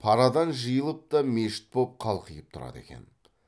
парадан жиылып та мешіт боп қалқиып тұрады екен